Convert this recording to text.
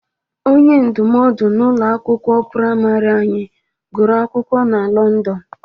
Onye ndụmọdụ n'ụlọ akwụkwọ prịmarị anyị gụrụ akwụkwọ na Lọndọn